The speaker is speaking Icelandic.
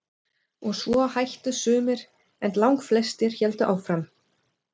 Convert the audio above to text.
Og svo hættu sumir en langflestir héldu áfram.